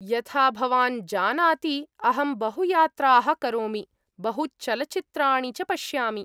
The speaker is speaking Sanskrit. यथा भवान् जानाति अहं बहुयात्रा्ः करोमि, बहुचलचित्राणि च पश्यामि।